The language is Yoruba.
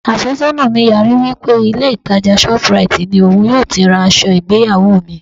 Àfẹ́sọ́nà mi yarí wí pé ilé ìtàjà shoplight ni òun yóò ti ra aṣọ ìgbéyàwó mi.